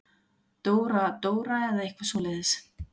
Dóra-Dóra eða eitthvað svoleiðis.